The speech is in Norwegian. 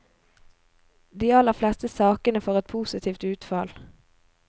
De aller fleste sakene får et positivt utfall.